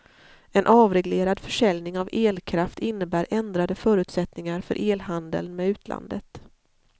En avreglerad försäljning av elkraft innebär ändrade förutsättningar för elhandeln med utlandet.